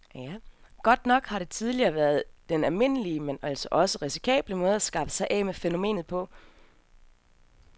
Godt nok har det tidligere været den almindelige, men altså også risikable måde at skaffe sig af med fænomenet på.